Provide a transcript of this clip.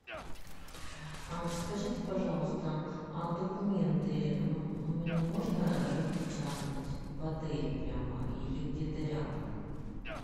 скажите пожалуйста документы мне можно распечатать в отеле прямо или где то рядом